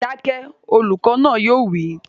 Dákẹ́! Olùkọ́ náà yóò wí